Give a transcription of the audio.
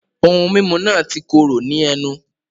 Ohun mímu náà ti kóró ní ẹnu